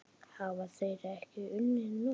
Hafa þeir ekki unnið nóg?